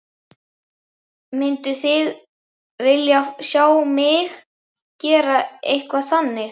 Mynduð þið vilja sjá mig gera eitthvað þannig?